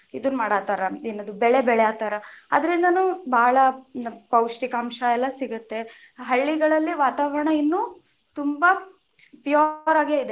ಇದು ಮಾಡಾತಾರ, ಏನದು ಬೆಳೆ ಬೆಳ್ಯಾತಾರ ಅದ್ರಿಂದನು ಬಾಳ ಪೌಷ್ಟಿಕಾಂಶ ಎಲ್ಲಾ ಸಿಗತ್ತೆ, ಹಳ್ಳಿಗಳಲ್ಲಿ ವಾತಾವರಣ ಇನ್ನು ತುಂಬಾ pure ಆಗೇ ಇದೆ.